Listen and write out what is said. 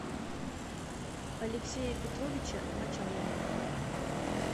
алексея петровича мочалова